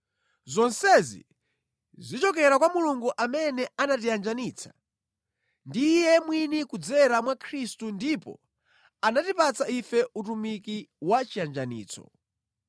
Zonsezi zichokera kwa Mulungu amene anatiyanjanitsa ndi Iye mwini kudzera mwa Khristu ndipo anatipatsa ife utumiki wa chiyanjanitso.